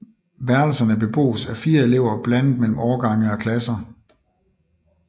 Værelserne bebos af 4 elever blandet mellem årgange og klasser